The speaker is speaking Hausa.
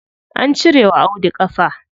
An cire wa Audu ƙafa.